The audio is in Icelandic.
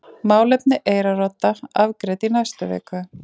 Málefni Eyrarodda afgreidd í næstu viku